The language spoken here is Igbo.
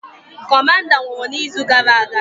Kọmanda nwụrụ na izu gara aga